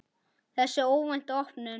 Þessi óvænta opnun